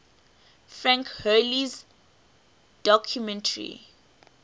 frank hurley's documentary